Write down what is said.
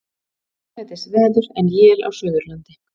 Hæglætisveður en él á Suðurlandi